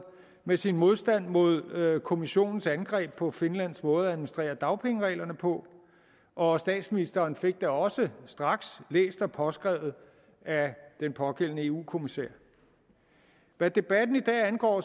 med sin modstand mod kommissionens angreb på finlands måde at administrere dagpengereglerne på og statsministeren fik da også straks læst og påskrevet af den pågældende eu kommissær hvad debatten i dag angår